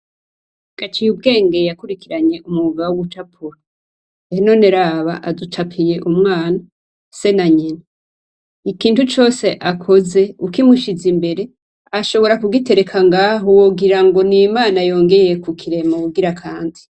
Gaciyubwenge yakurikiranye umwuga wo gucapura. Ehe none aducapiye umwana, se na nyina. Ikintu cose akoze ukimushize imbere, ashobora kugitereka ng'aho, wogora ngo ni Imana yongeye kukirema ubugira kandi